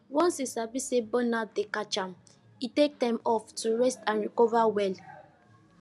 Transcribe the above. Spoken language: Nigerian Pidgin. once he sabi say burnout dey catch am he take time off to rest and recover well